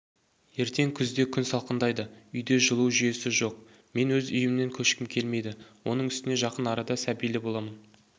ертең күзде күн салқындайды үйде жылу жүйесі жоқ мен өз үйімнен көшкім келмейді оның үстіне жақын арада сәбилі боламын